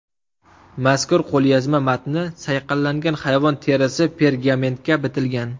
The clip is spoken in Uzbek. Mazkur qo‘lyozma matni sayqallangan hayvon terisi pergamentga bitilgan.